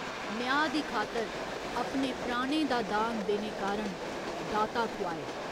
न्यांऽ दी खातर अपने प्राणें दा दान देने कारण 'दाता' खुआए।